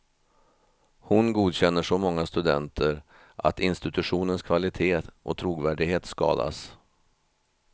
Hon godkänner så många studenter att institutionens kvalitet och trovärdighet skadas.